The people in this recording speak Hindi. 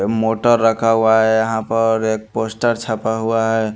मोटर रखा हुआ है यहाँ पर एक पोस्टर छपा हुआ है।